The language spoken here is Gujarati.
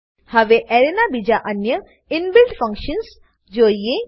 હવે એરેના બીજા અન્ય ઇનબિલ્ટ ફંકશન્સ જોઈએ